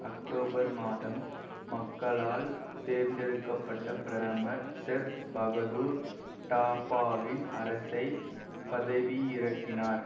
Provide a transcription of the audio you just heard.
October மாதம் மக்களால் தேர்ந்தெடுக்க பட்ட பிரதமர் செர் பகதுர் டாபாவின் அரசை பதவியிறக்கினார்